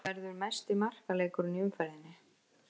Þetta verður mesti markaleikurinn í umferðinni.